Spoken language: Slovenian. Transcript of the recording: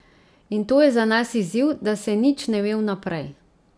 In to je za nas izziv, da se nič ne ve vnaprej.